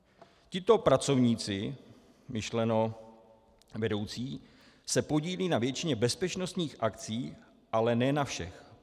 Tito pracovníci - myšleno vedoucí - se podílejí na většině bezpečnostních akcí, ale ne na všech.